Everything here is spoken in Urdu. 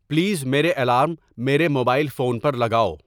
پلیز میرے الارم میرے موبائل فون پر لگاؤ